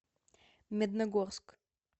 медногорск